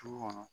Du kɔnɔ